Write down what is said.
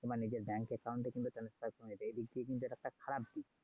কিংবা নিজের bank account এ transfaction হয়েছে এই দিক দিয়ে কিন্তু এটা খারাপ দিক।